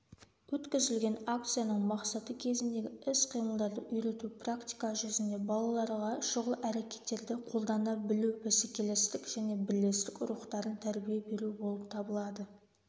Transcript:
өткізілген акцияның мақсаты кезіндегі іс-қимылдарды үйрету практика жүзінде балаларға шұғыл әрекеттерді қолдана білу бәсекелестік және бірлестік рухтарын тәрбие беру болып табылады